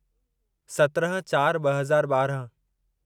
सत्रहं चार ॿ हज़ार ॿारहं